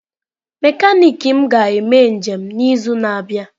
Mekaniki m ga-eme njem n'izu na-abịa.